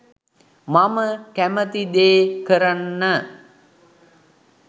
මම කැමති දේ කරන්න